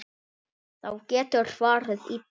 Þá getur farið illa.